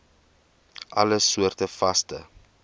alle soorte vaste